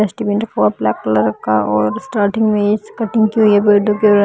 dustbin है और black colour का और स्टार्टिंग में ये कटिंग की हुई हैं --